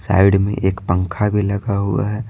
Side में एक पंखा भी लगा हुआ है।